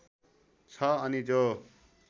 छ अनि जो